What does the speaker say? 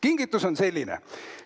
Kingitus on selline.